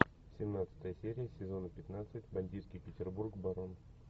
семнадцатая серия сезона пятнадцать бандитский петербург барон